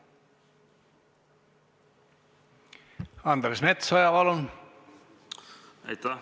Andres Metsoja, palun!